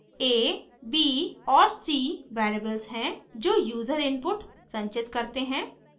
$a $b और $c variables हैं जो यूजर input संचित करते हैं